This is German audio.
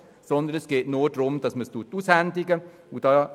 Es geht nur darum, dass es ausgehändigt wird.